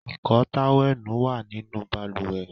Ìkọ́ọ tówẹ́ẹ̀nù wá nínú balùwẹ̀